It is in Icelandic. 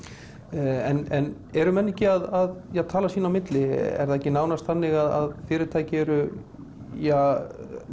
en eru menn ekki að tala sín á milli er það ekki nánast þannig að fyrirtæki eru ja